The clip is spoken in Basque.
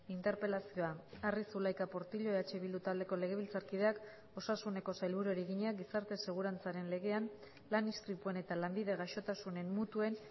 interpelazioa arri zulaika portillo eh bildu taldeko legebiltzarkideak osasuneko sailburuari egina gizarte segurantzaren legean lan istripuen eta lanbide gaixotasunen mutuen